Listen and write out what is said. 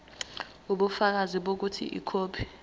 ubufakazi bokuthi ikhophi